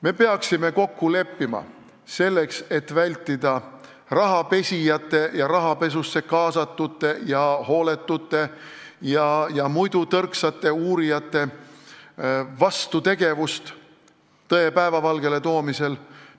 Me peaksime kokku leppima selles, et väldime rahapesijate ja rahapesusse kaasatute, samuti hooletute ja muidu tõrksate uurijate vastutegevust tõe päevavalgele toomisel.